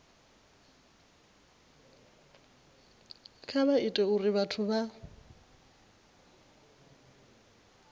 kha vha ite uri vhathu